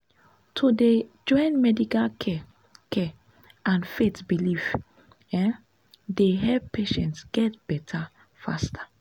to dey join medical care care and faith belief um dey help patients get better faster.